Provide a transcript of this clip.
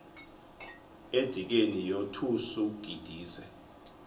edikeni yothus ugidise